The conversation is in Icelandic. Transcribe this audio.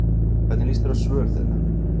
Hvernig lýst þér á svör þeirra?